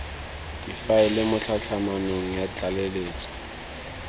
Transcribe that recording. difaele mo tlhatlhamanong ya tlaleletso